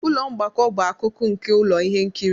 Ụlọ mgbakọ bụ akụkụ nke ụlọ ihe nkiri